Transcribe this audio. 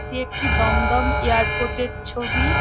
এটি একটি দমদম এয়ারপোর্ট -এর ছবি।